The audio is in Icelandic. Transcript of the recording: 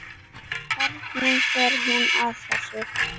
Hvernig fer hún að þessu?